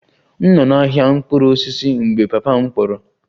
M nọ n'ahịa mkpụrụ osisi mgbe papa m kpọrọ